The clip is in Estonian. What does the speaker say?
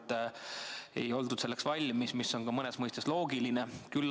Selleks ei oldud valmis, mis on ka mõnes mõttes loogiline.